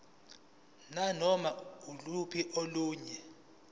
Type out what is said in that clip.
nanoma yiluphi olunye